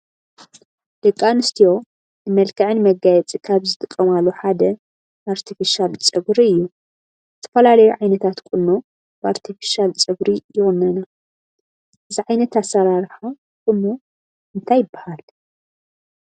ደቂ ኣንስትዮ ንመልከዐን መጋየፂ ካብ ዝጥቀማሉ ሓደ ኣርቴፊቫል ፀጉሪ እዩ፡፡ ዝተፈላለዩ ዓይነታት ቁኖ ብኣርቴፊሻል ፀጉሪ ይቑነና፡፡ እዚ ዓይነት ኣሰራርሓ ቁኖ እንታይ ይባሃል?